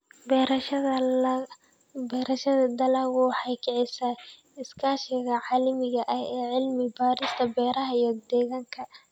Beerashada dalaggu waxay kicisaa iskaashiga caalamiga ah ee cilmi-baarista beeraha iyo deegaanka.